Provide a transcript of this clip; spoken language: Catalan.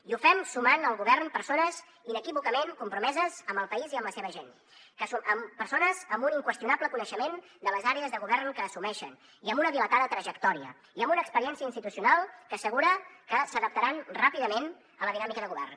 i ho fem sumant al govern persones inequívocament compromeses amb el país i amb la seva gent persones amb un inqüestionable coneixement de les àrees de govern que assumeixen i amb una dilatada trajectòria i amb una experiència institucional que assegura que s’adaptaran ràpidament a la dinàmica de govern